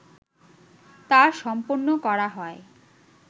তা সম্পন্ন করা হয়